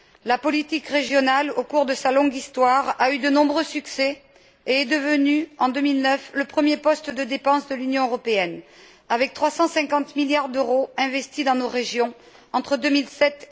La politique régionale, au cours de sa longue histoire, a eu de nombreux succès et est devenue, en 2009, le premier poste de dépenses de l'Union européenne, avec 350 milliards d'euros investis dans nos régions entre 2007